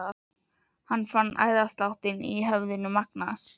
Hann fann æðasláttinn í höfðinu magnast.